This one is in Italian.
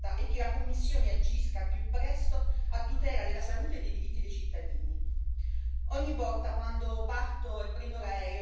Mi auguro quindi che questa richiesta non rimanga lettera morta e che la Commissione agisca al più presto a tutela della salute e dei diritti dei cittadini.